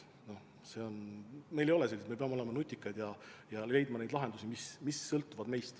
Meil ei ole selliseid võimalusi, seega me peame olema nutikad ja leidma lahendusi, mis sõltuvad meist.